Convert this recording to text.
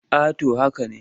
A to haka ne.